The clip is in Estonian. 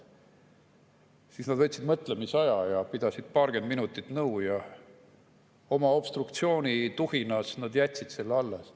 Siis nad võtsid mõtlemisaja ja pidasid paarkümmend minutit nõu ja oma obstruktsioonituhinas nad jätsid selle alles.